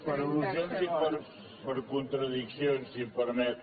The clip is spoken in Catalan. per al·lusions i per contradiccions si em permet